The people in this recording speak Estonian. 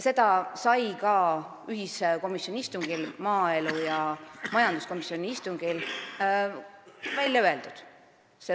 See sai ka maaelu- ja majanduskomisjoni ühisistungil välja öeldud.